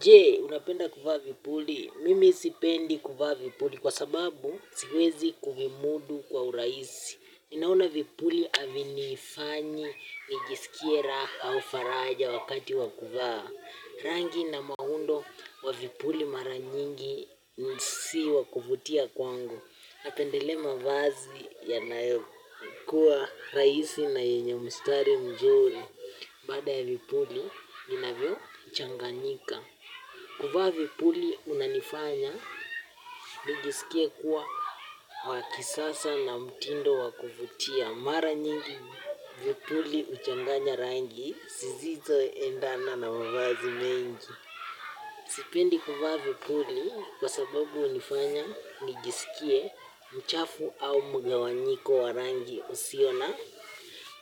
J, unapenda kufaa vipuli? Mimi sipendi kufaa vipuli kwa sababu siwezi kuvimudu kwa uraisi. Ninaona vipuli aviniifanyi, nijisikie ra au faraja wakati wakufaa. Rangi na maundo wa vipuli mara nyingi si wakuvutia kwangu napendelea ma vazi ya naeo kuwa raisi na yenye mistari mzuri. Bada ya vipuli, vinavyo changanika. Kuvaa vipuli unanifanya, nijisikie kuwa wakisasa na mtindo wakuvutia. Mara nyingi vipuli uchanganya rangi, sizizo endana na mavazi mengi. Sipendi kuvaa vipuli, kwa sababu unifanya, nijisikie, mchafu au mgawanyiko wa rangi, usiona